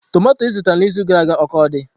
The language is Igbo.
Tomato izụtara na izuụka gara aga o ka dị?